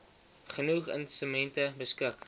genoeg instrumente beskik